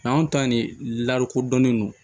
San anw ta nin larokodɔnnen don